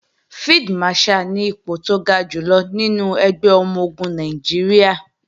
Field Marshal ni ipò tó ga jùlọ nínú ẹgbẹ́ ọmọ-ogun Nàìjíríà